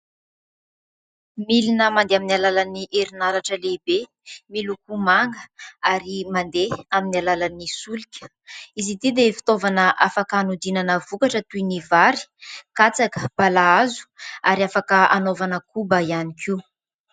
Milina mandeha amin'ny alalan'ny herinaratra lehibe miloko manga ary mandeha amin'ny alalan'ny solika. Izy ity dia fitaovana afaka hanodinana vokatra toy ny vary, katsaka, balahazo, ary afaka hanaovana koba ihany koa.